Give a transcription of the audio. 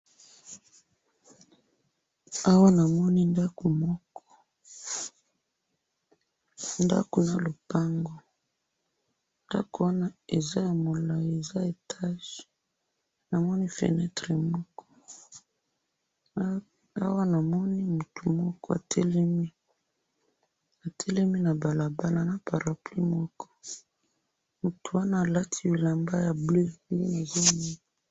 awa namoni ndaku moko, ndaku na lupangu, ndaku wana eza ya molayi, eza etage namoni fenetre moko, awa namoni mtu moko atelemi, atelemi na barabara, na parapluie moko, mtu wana alati bilamba ya bleu